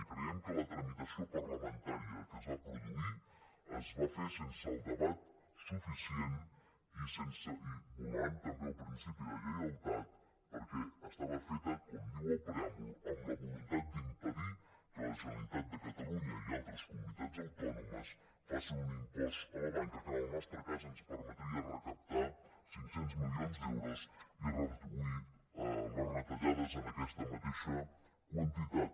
i creiem que la tramitació parlamentària que es va produir es va fer sense el debat suficient i vulnerant també el principi de lleialtat perquè estava feta com diu el preàmbul amb la voluntat d’impedir que la generalitat de catalunya i altres comunitats autònomes facin un impost a la banca que en el nostre cas ens permetria recaptar cinc cents milions d’euros i reduir les retallades en aquesta mateixa quantitat